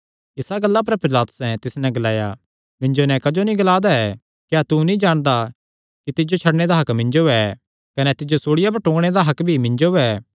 इसा गल्ला पर पिलातुसैं तिस नैं ग्लाया मिन्जो नैं क्जो नीं ग्ला दा ऐ क्या तू नीं जाणदा कि तिज्जो छड्डणे दा हक्क मिन्जो ऐ कने तिज्जो सूल़िया पर टूंगणे दा हक्क भी मिन्जो ऐ